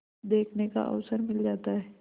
देखने का अवसर मिल जाता है